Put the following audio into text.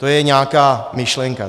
To je nějaká myšlenka.